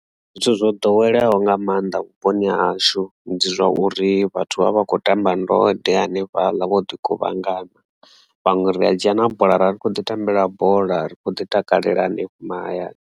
Zwithu zwo ḓoweleaho nga maanḓa vhuponi hashu ndi zwa uri vhathu vha vha kho tamba ndode hanefha ḽa vho ḓi kuvhangana vhaṅwe ri a dzhia na bola ri kho ḓi tambela bola ha ri kho ḓi takalela hanefha mahayani.